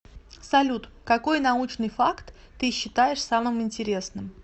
салют какой научный факт ты считаешь самым интересным